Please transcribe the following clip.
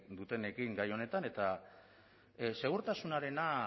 dutenekin gai honetan eta segurtasunarena